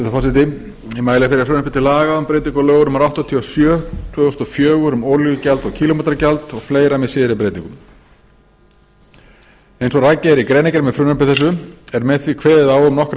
forseti ég mæli fyrir frumvarpi til laga um breyting á lögum númer áttatíu og sjö tvö þúsund og fjögur um olíugjald og kílómetragjald og fleiri með síðari breytingum eins og rakið er í greinargerð með frumvarpi þessu er með því kveðið á um nokkrar